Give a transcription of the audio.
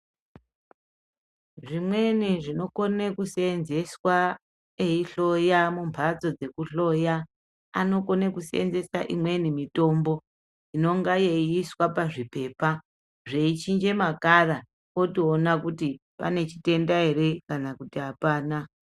Zvimweni zvino kone ku senzeswa eyi hloya mu mbatso dzeku hloya anokone kusenzesa imweni mitombo inonga yeiswa pazvipepa zvei chinja ma kala otoona kuti pane chitenda ere kana kuti apana.